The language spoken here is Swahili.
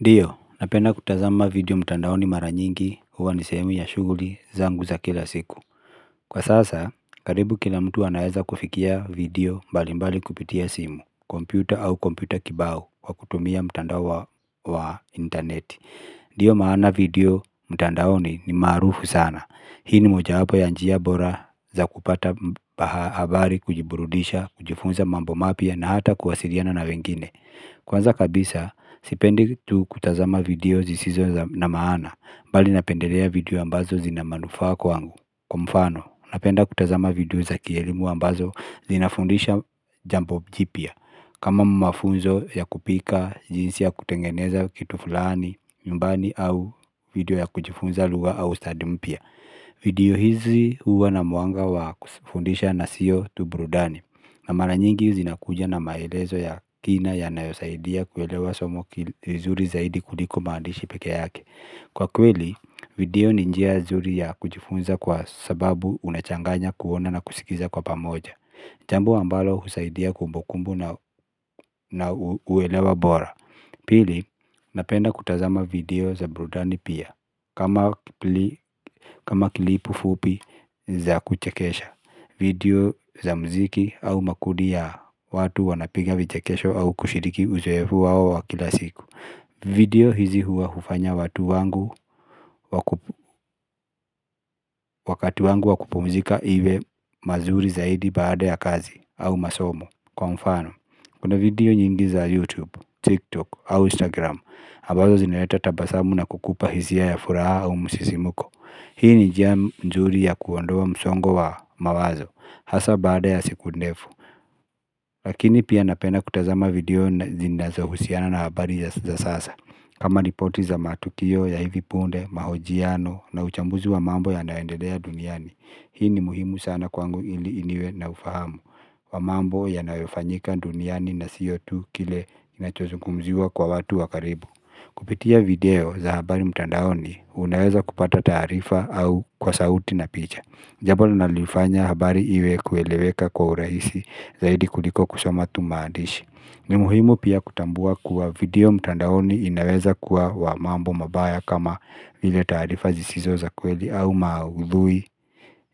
Ndiyo napenda kutazama video mtandaoni mara nyingi huwa ni sehemu ya shughuli zangu za kila siku kwa sasa karibu kila mtu anaweza kufikia video mbalimbali kupitia simu kompyuta au kompyuta kibao kwa kutumia mtandao wa wa internet Ndiyo maana video mtandaoni ni maarufu sana. Hii ni mojawapo ya njia bora za kupata habari, kujiburudisha, kujifunza mambo mapya na hata kuwasiliana na wengine Kwanza kabisa sipendi tu kutazama video zisizo na maana bali napendelea video ambazo zina manufaa kwangu kwa mfano napenda kutazama video za kielimu ambazo zinafundisha jambo jipya kama mafunzo ya kupika jinsi ya kutengeneza kitu fulani nyumbani au video ya kujifunza lugha au stadi mpya video hizi huwa na mwanga wa kufundisha na siyo tu burudani na mara nyingi zinakuja na maelezo ya kina yanayosaidia kuelewa somo vizuri zaidi kuliko maandishi peke yake Kwa kweli, video ni njia nzuri ya kujifunza kwa sababu unachanganya kuona na kusikiza kwa pamoja Jambo ambalo husaidia kumbukumbu na uelewa bora. Pili, napenda kutazama video za burudani pia kama kama kilipu fupi za kuchekesha video za muziki au makundi ya watu wanapiga vichekesho au kushiriki uzoefu wao wa kila siku video hizi huwa hufanya watu wangu wakati wangu wa kupumzika iwe mazuri zaidi baada ya kazi au masomo. Kwa mfano, kuna video nyingi za YouTube, TikTok au Instagram ambazo zinaleta tabasamu na kukupa hisia ya furaha au msisimko. Hii ni njia nzuri ya kuondoa msongo wa mawazo, hasa bada ya siku ndefu. Lakini pia napenda kutazama video zinazohusiana na habari za sasa. Kama ripoti za matukio ya hivi punde, mahojiano na uchambuzi wa mambo yanayoendelea duniani. Hii ni muhimu sana kwangu ili niwe na ufahamu. Wa mambo yanayofanyika duniani na siyo tu kile kinachozungumziwa kwa watu wa karibu. Kupitia video za habari mtandaoni unaweza kupata taarifa au kwa sauti na picha jambo linaloifanya habari iwe kueleweka kwa urahisi zaidi kuliko kusoma tu maandishi ni muhimu pia kutambua kuwa video mtandaoni inaweza kuwa wa mambo mabaya kama vile taarifa zisizo za kweli au maudhui